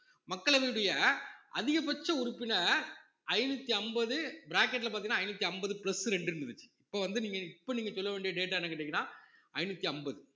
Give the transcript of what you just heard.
மக்களவையினுடைய அதிகபட்ச உறுப்பினர் ஐந்நூத்தி அம்பது bracket ல பாத்தீங்கன்னா ஐந்நூத்தி அம்பது plus ரெண்டு இருந்துச்சு இப்ப வந்து நீங்க இப்ப நீங்க சொல்ல வேண்டிய data என்னன்னு கேட்டீங்கன்னா ஐந்நூத்தி அம்பது